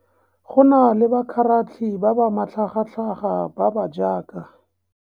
Go na le bakgaratlhi ba ba matlhagatlhaga ba ba jaaka.